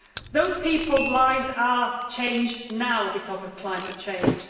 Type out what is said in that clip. Those people's lives have changed already because of climate change.